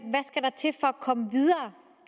komme videre